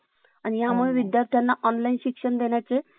File न्यावं लागन का मला job च्या ठिकाणी?